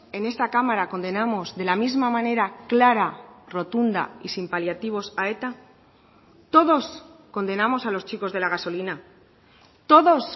en esta cámara condenamos de la misma manera clara rotunda y sin paliativos a eta todos condenamos a los chicos de la gasolina todos